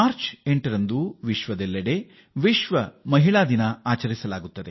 ಇಡೀ ವಿಶ್ವ ಮಾರ್ಚ್ 8ನ್ನು ಮಹಿಳಾ ದಿನವಾಗಿ ಆಚರಿಸುತ್ತದೆ